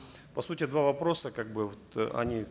по сути два вопроса как бы вот они